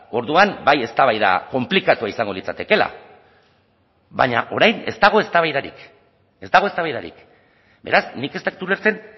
orduan bai eztabaida konplikatua izango litzatekeela baina orain ez dago eztabaidarik ez dago eztabaidarik beraz nik ez dut ulertzen